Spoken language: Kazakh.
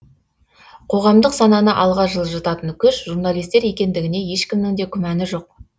қоғамдық сананы алға жылжытатын күш журналистер екендігіне ешкімнің де күмәні жоқ